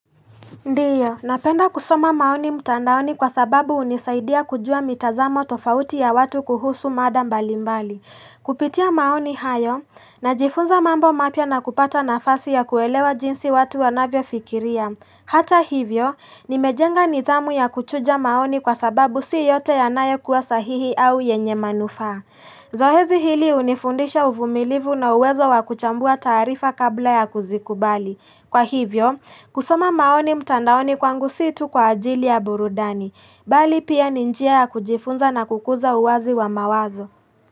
Ndiyo, napenda kusoma maoni mtandaoni kwa sababu hunisaidia kujua mitazamo tofauti ya watu kuhusu mada mbali mbali. Kupitia maoni hayo, najifunza mambo mapya na kupata nafasi ya kuelewa jinsi watu wanavyofikiria. Hata hivyo, nimejenga nidhamu ya kuchuja maoni kwa sababu si yote yanayo kuwa sahihi au yenye manufaa. Zoezi hili hunifundisha uvumilivu na uwezo wa kuchambua taarifa kabla ya kuzikubali. Kwa hivyo, kusoma maoni mtandaoni kwangu si tu kwa ajili ya burudani, bali pia ni njia ya kujifunza na kukuza uwazi wa mawazo.